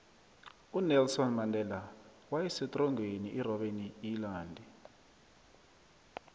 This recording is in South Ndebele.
unelson mandela wasetrongweni irobeni iyilandi